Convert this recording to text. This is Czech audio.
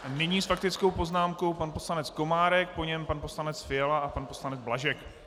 Nyní s faktickou poznámkou pan poslanec Komárek, po něm pan poslanec Fiala a pan poslanec Blažek.